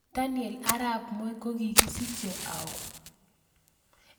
Daniel arap Moi ko kigisichee au